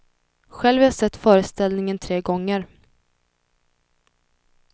Själv har jag sett föreställningen tre gånger.